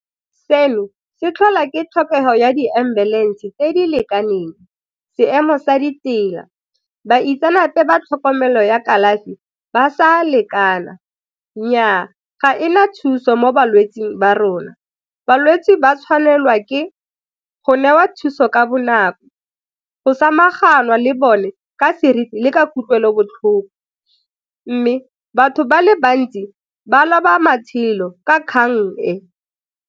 Seno se tlhola ke tlhokego ya di-ambulance tse di lekaneng, seemo sa ditsela, baitsanape ba tlhokomelo ya kalafi ba sa lekana. Nnyaa, ga e na thuso mo balwetsing ba rona, balwetse ba tshwanelwa ke go newa thuso ka bonako, go samaganwa le bone ka seriti le ka kutlwelobotlhoko mme batho ba le bantsi ba loba matshelo ka kgang e.